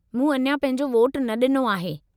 मूं अञा पंहिंजो वोटु न डि॒नो आहे।